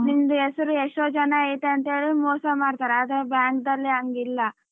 ನಿಮ್ದು ಹೆಸರು ಎಷ್ಟೋ ಜನ ಐತೆ ಅಂತೇಳಿ ಮೋಸ ಮಾಡ್ತಾರೆ ಆದ್ರೆ bank ಅಲಿ ಹಂಗಿಲ್ಲ.